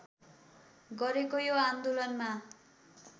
गरेको यो आन्दोलनमा